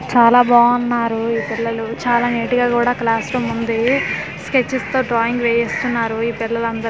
చాలా బావున్నారు ఈ పిల్లలు చాలా నీట్ గా కూడా ఈ క్లాస్ రూమ్ ఉంది స్కేచెస్ తో డ్రాయింగ్ వేస్తున్నారు ఈ పిల్లలు అందరూ.